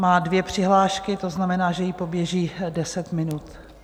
Má dvě přihlášky, to znamená, že jí poběží deset minut.